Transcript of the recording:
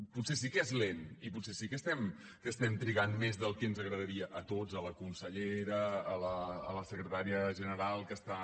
potser sí que és lent i potser sí que estem trigant més del que ens agradaria a tots a la consellera a la secretària general que està